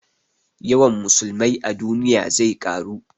Yawan musulmai a duniya zai ƙaru